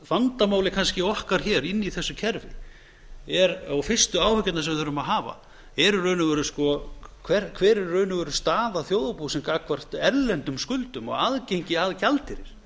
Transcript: vandamálið kannski okkar hér inni í þessu kerfi og fyrstu áhyggjurnar sem við þurfum að hafa eru í raun og veru háar er í raun veru staða þjóðarbúsins gagnvart erlendum skuldum og aðgengi að gjaldeyri